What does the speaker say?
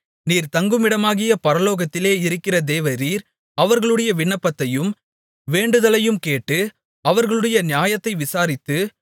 நீர் தங்குமிடமாகிய பரலோகத்திலே இருக்கிற தேவரீர் அவர்களுடைய விண்ணப்பத்தையும் வேண்டுதலையும் கேட்டு அவர்களுடைய நியாயத்தை விசாரித்து